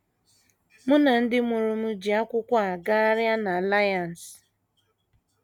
* Mụ na ndị mụrụ m ji akwụkwọ a gagharịa n’Alliance.